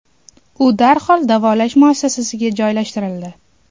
U darhol davolash muassasasiga joylashtirildi.